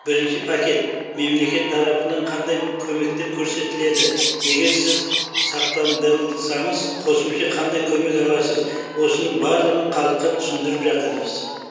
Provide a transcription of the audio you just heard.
бірінші пакет мемлекет тарапынан қандай көмектертер көрсетіледі егер сіз сақтандырылсаңыз қосымша қандай көмек аласыз осының барлығын халыққа түсіндіріп жатырмыз